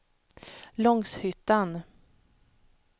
Långshyttan